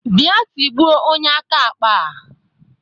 Bịa tigbuo onye aka akpa a!